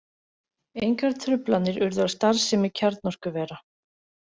Engar truflanir urðu á starfsemi kjarnorkuvera